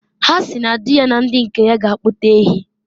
Ha si na di ya na ndi nke ya ga akpụta ehi.